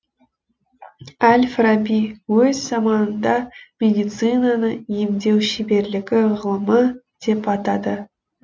әл фараби өз заманында медицинаны емдеу шеберлігі ғылымы деп атады